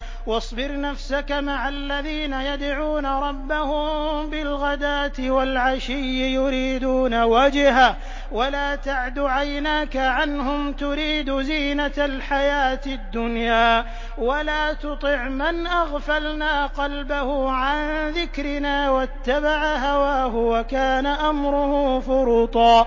وَاصْبِرْ نَفْسَكَ مَعَ الَّذِينَ يَدْعُونَ رَبَّهُم بِالْغَدَاةِ وَالْعَشِيِّ يُرِيدُونَ وَجْهَهُ ۖ وَلَا تَعْدُ عَيْنَاكَ عَنْهُمْ تُرِيدُ زِينَةَ الْحَيَاةِ الدُّنْيَا ۖ وَلَا تُطِعْ مَنْ أَغْفَلْنَا قَلْبَهُ عَن ذِكْرِنَا وَاتَّبَعَ هَوَاهُ وَكَانَ أَمْرُهُ فُرُطًا